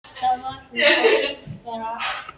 Þá var hún á tólfta ári.